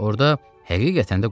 Orda həqiqətən də quyu gördü.